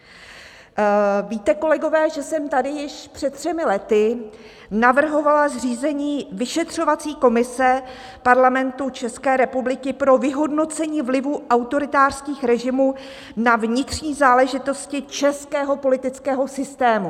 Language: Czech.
Víte, kolegové, že jsem tady již před třemi lety navrhovala zřízení vyšetřovací komise Parlamentu České republiky pro vyhodnocení vlivu autoritářských režimů na vnitřní záležitosti českého politického systému.